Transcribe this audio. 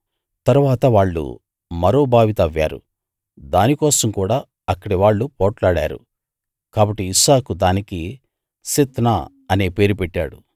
తరువాత వాళ్ళు మరో బావి తవ్వారు దాని కోసం కూడా అక్కడి వాళ్ళు పోట్లాడారు కాబట్టి ఇస్సాకు దానికి శిత్నా అనే పేరు పెట్టాడు